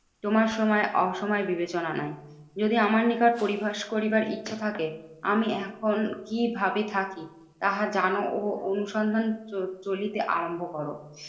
তোমার সময় অসময় বিবেচনা নাই। যদি আমার নিকট পরি ভাস করিবার ইচ্ছা থাকে, আমি এখন কি ভাবে থাকি তাহা জানো ও অনুসন্ধান চ চলিতে আরম্ভ করো।